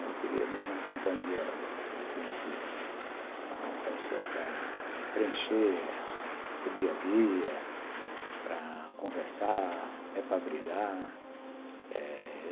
Eu queria mesmo uma companhia definitiva, uma pessoa para preencher o dia a dia, para conversar, até para brigar eh